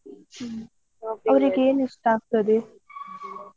ಅವ್ರಿಗೆ ಏನು ಇಷ್ಟ ಆಗ್ತದೆ?